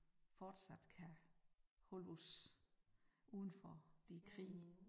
Fortsat kan holde os udenfor de krige